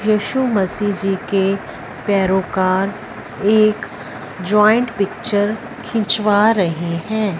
येशु मसीह जी के पैरो का एक जॉइंट पिक्चर खिंचवा रहे हैं।